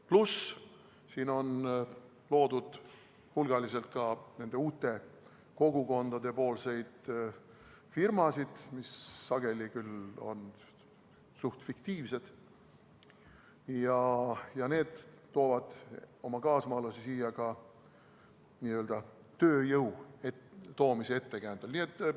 Pluss see, et need uued kogukonnad on siin loonud hulgaliselt ka firmasid, mis sageli on küll suhteliselt fiktiivsed, ja nad toovad oma kaasmaalasi siia ka tööjõu toomise ettekäändel.